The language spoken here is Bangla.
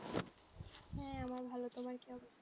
হ্যাঁ আমার ভালো তোমার কি অবস্থা?